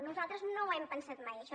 nosaltres no ho hem pensat mai això